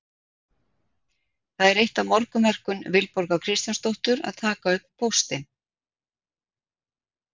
Það er eitt af morgunverkum Vilborgar Kristjánsdóttur að taka upp póstinn.